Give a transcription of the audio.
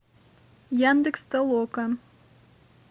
яндекс толока